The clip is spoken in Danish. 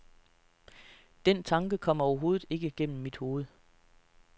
Den tanke kom overhovedet ikke gennem mit hoved.